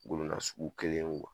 Golo nasugu kelen ye